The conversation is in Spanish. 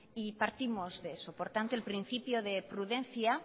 y partimos de eso por tanto el principio de prudencia